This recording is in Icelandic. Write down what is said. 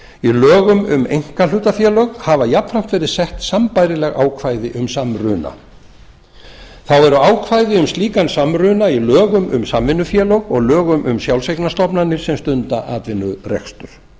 í lögum um einkahlutafélög hafa jafnframt verið sett sambærileg ákvæði um samruna þá eru ákvæði um slíkan samruna í lögum um samvinnufélög og lögum um sjálfseignarstofnanir sem stunda atvinnurekstur